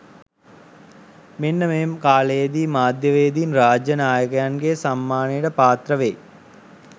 මෙන්න මේ කාලයේදී මාධ්‍යවේදින් රාජ්‍ය නායකයන්ගේ සම්මානයට පාත්‍ර වෙයි.